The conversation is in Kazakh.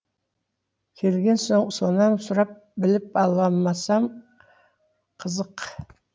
келген соң сонан сұрап біліп алмасам қызық